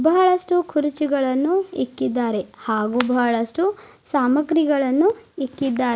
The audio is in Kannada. ಬಹಳಷ್ಟು ಕುರ್ಚಿಗಳನ್ನು ಇಕ್ಕಿದ್ದಾರೆ ಹಾಗೂ ಬಹಳಷ್ಟು ಸಾಮಗ್ರಿಗಳನ್ನು ಇಕ್ಕಿದಾರ್--